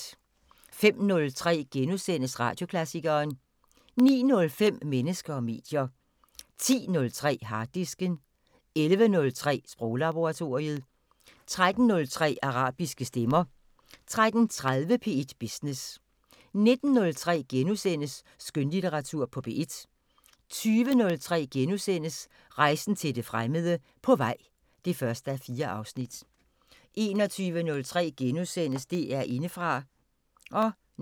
05:03: Radioklassikeren * 09:05: Mennesker og medier 10:03: Harddisken 11:03: Sproglaboratoriet 13:03: Arabiske stemmer 13:30: P1 Business 19:03: Skønlitteratur på P1 * 20:03: Rejsen til det fremmede: På vej (1:4)* 21:03: DR Indefra *